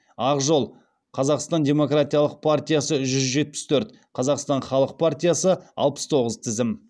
ақ жол қазақстан демократиялық партиясы жүз жетпіс төрт қазақстан халық партиясы алпыс тоғыз тізім